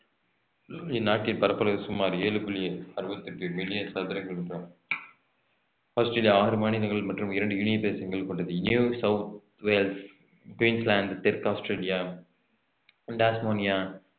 இந்நாட்டின் பரப்பளவு சுமார் ஏழு புள்ளி அறுபத்தி எட்டு மில்லியன் ஆஸ்திரேலியா இது ஆறு மாநிலங்கள் மற்றும் இரண்டு யூனியன் தேசங்கள் கொண்டது தெற்கு ஆஸ்திரேலியா டாஸ்மோனியா